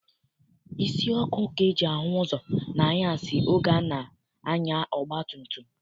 Isi ọkụ ka e ji ahụ ụzọ n'anyasị oge a na-anya ọgbatumtum.